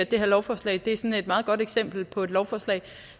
det her lovforslag er sådan et meget godt eksempel på et lovforslag